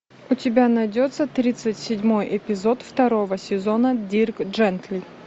у тебя найдется тридцать седьмой эпизод второго сезона дирк джентли